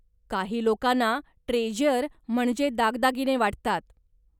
काही लोकांना ट्रेझ्यर म्हणजे दागदागिने वाटतात.